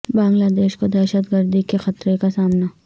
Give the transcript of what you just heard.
بنگلہ دیش کو دہشت گردی کے خطرہ کا سامنا